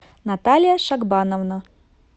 наталья шагбановна